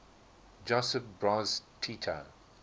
josip broz tito